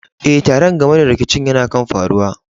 Eh, taron game da rikicin yana kan faruwa.